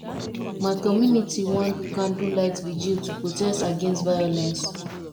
my community wan do candlelight virgil to protest against violence